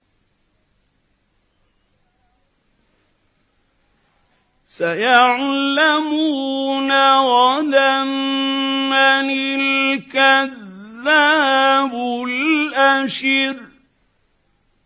سَيَعْلَمُونَ غَدًا مَّنِ الْكَذَّابُ الْأَشِرُ